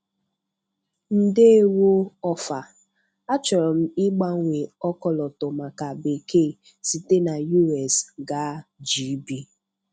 Ndewo Ofer. Achọrọ m ịgbanwe ọkọlọtọ maka bekee site na US gaa GB.